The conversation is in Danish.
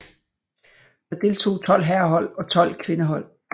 Der deltog tolv herrehold og tolv kvindehold